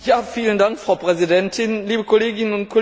Frau Präsidentin, liebe Kolleginnen und Kollegen!